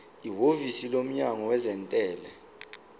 ihhovisi lomnyango wezentela